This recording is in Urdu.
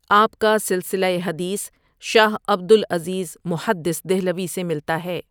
آپ کا سلسلہ ٔحدیث شاہ عبد العزیز محدث دہلوی سے ملتا ہے ۔